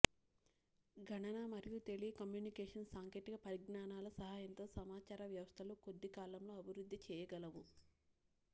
గణన మరియు టెలికమ్యూనికేషన్ సాంకేతిక పరిజ్ఞానాల సహాయంతో సమాచార వ్యవస్థలు కొద్దికాలంలో అభివృద్ధి చేయగలవు